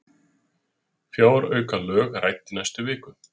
Fjáraukalög rædd í næstu viku